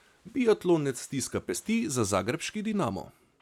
Biatlonec stiska pesti za zagrebški Dinamo.